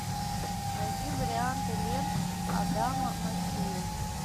найди варианты лент адама маккея